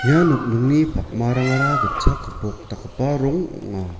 ia nokningni pakmarangara gitchak gipok dakgipa rong ong·a.